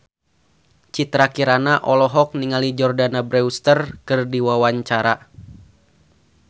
Citra Kirana olohok ningali Jordana Brewster keur diwawancara